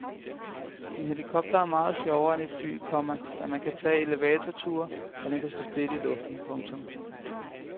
En helikopter er meget sjovere end et fly, komma da man kan tage elevatorture og den kan stå stille i luften. punktum